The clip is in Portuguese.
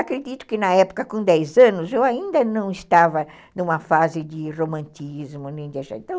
Acredito que na época, com dez anos, eu ainda não estava numa fase de romantismo